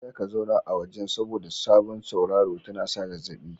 Kada Ka zauna a wajen, saboda sauraro tana sa zazzabi.